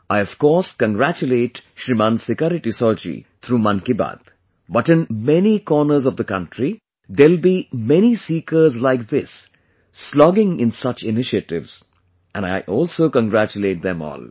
I of course congratulate Shriman Sikari Tissau ji through 'Mann Ki Baat', but in many corners of the country, there will be many seekers like this slogging in such initiatives and I also congratulate them all